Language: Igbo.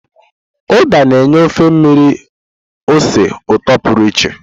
Uda na-enye ofe mmiri ose ụtọ pụrụ iche.